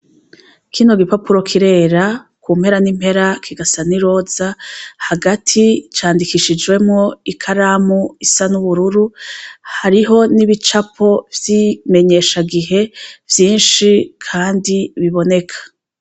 Kino gipapuro kirera kumpera ni mpera kigasa n'iroza hagati candikishijemwo n'ikaramu isa n'ubururu hariho n'ibicapo vyi menyesha gihe vyishi kandi biboneka.